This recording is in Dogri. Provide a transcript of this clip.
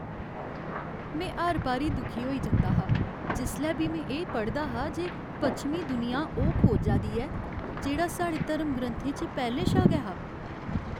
में हर बारी दुखी होई जंदा हा जिसलै बी में एह् पढ़दा हा जे पच्छमीं दुनिया ओह् खोजा दी ऐ जेह्ड़ा साढ़े धर्मग्रंथें च पैह्लें शा गै हा।